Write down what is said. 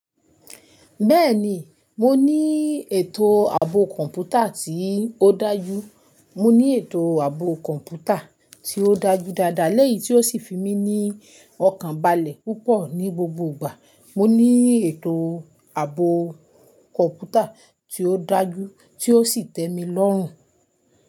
Bẹ́ẹ̀ni, mo ní ètò ààbò kọ̀ǹpútà tí ó dájú. Mo ní ètò ààbò kọ̀ǹpútà tí ó dájú dáadáa, lẹ́yìn tí ó sì fi mí ní ọkàn balẹ̀ púpọ̀ ní gbogbo ìgbà. Mo ní ètò ààbò kọ̀ǹpútà tí ó dájú tí ó sì tẹ́ mi lọ́rùn.